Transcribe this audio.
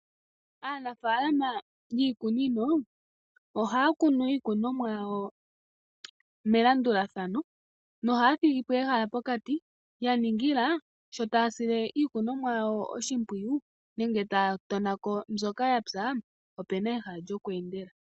Aanafalama yiikunino ohaya kunu iikunomwa yawo melandulathano nohaya thigipo ehala pokati ya ningila sho taya sile iikunomwa yawo oshimpwiyu nenge taya tonako mbyoka yapwa ope na ehala lyokweendela.